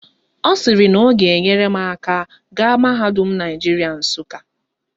Ọ sịrị na ọ ga-enyere m aka gaa mahadum Naijiria Nsụka